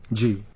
Ji sir